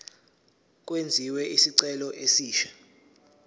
kwenziwe isicelo esisha